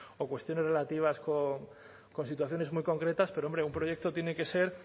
o cuestiones relativas con situaciones muy concretas pero hombre un proyecto tiene que ser